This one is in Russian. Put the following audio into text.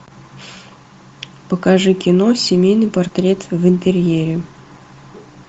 покажи кино семейный портрет в интерьере